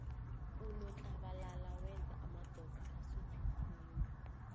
unotlabalala wenza amadoda asuthe khulu